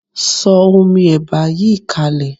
Sọ omi ẹ̀bà yìí kalẹ̀.